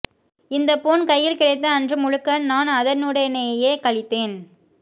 இந்த போன் கையில் கிடைத்த அன்று முழுக்க நான் அதனுடனேயே கழித்தேன்